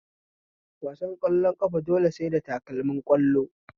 Wasan ƙwallon ƙafa dole sai da takalmin ƙwallo